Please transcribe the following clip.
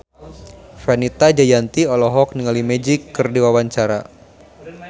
Fenita Jayanti olohok ningali Magic keur diwawancara